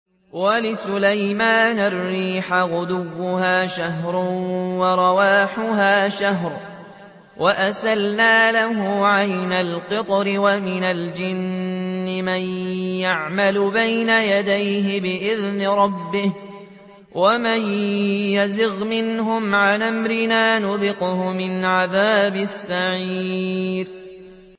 وَلِسُلَيْمَانَ الرِّيحَ غُدُوُّهَا شَهْرٌ وَرَوَاحُهَا شَهْرٌ ۖ وَأَسَلْنَا لَهُ عَيْنَ الْقِطْرِ ۖ وَمِنَ الْجِنِّ مَن يَعْمَلُ بَيْنَ يَدَيْهِ بِإِذْنِ رَبِّهِ ۖ وَمَن يَزِغْ مِنْهُمْ عَنْ أَمْرِنَا نُذِقْهُ مِنْ عَذَابِ السَّعِيرِ